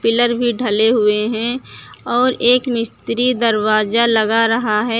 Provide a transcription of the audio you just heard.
Pillar भी ढले हुए हैं और एक मिस्त्री दरवाजा लगा रहा है।